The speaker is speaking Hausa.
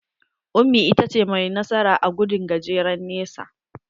Ummi ita ta ce mai nasara a gudun gajeren nesa.